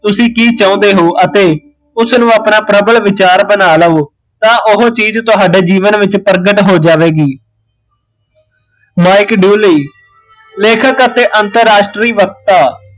ਤੁਸੀਂ ਕੀ ਚਾਹੁੰਦੇ ਹੋ ਅਤੇ ਉਸ ਨੂ ਆਪਣਾ ਪ੍ਰਬਲ ਵਿਚਾਰ ਬਣਾ ਲਵੋ ਤਾਂ ਓਹ ਚੀਜ਼ ਤੁਹਾਡੇ ਜੀਵਨ ਵਿੱਚ ਪ੍ਰਗਟ ਹੋ ਜਾਵੇਗੀ ਮਾਈਕ ਦੂਲੀ ਲੇਖਕ ਅਤੇ ਅੰਤਰਰਾਸਟਰੀ ਵਕਤਾ